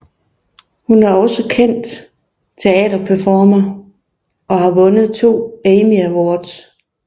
Hun er også kendt teaterperformer og har vundet to Emmy Awards